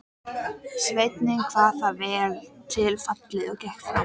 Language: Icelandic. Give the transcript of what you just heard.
Þú hefðir ekki átt að gera það sagði hann ávítandi.